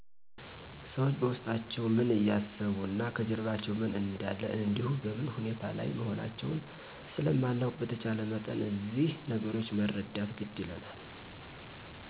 ሠዎች በውስጣቸው ምን እያሰቡ እና ከጀርባቸው ምን እንደለ እንዲሁ በምን ሁኔታ ላይ መሆናውን ስለማናውቅ በተቻለ መጠን እዚህ ነገሮች መረዳት ግድ ይለናል